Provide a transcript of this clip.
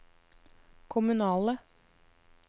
kommunale